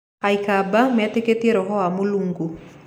Aikamba metĩkĩtie roho wa Mulungu.